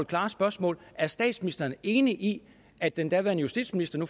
klare spørgsmål er statsministeren enig i at den daværende justitsminister nu